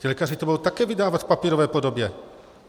Ti lékaři to budou také vydávat v papírové podobě.